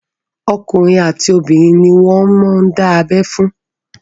Okùnrin àti obìnrin ni wọ́n ń dábẹ́ fún.